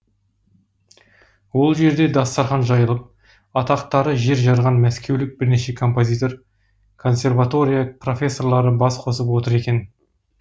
ол жерде дастархан жайылып атақтары жер жарған мәскеулік бірнеше композитор консерватория профессорлары бас қосып отыр екен